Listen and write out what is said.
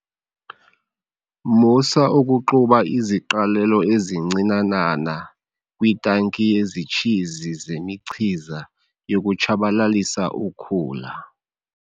Musa ukuxuba iziqalelo ezincinanana kwitanki yezitshizi zemichiza yokutshabalalisa ukhula.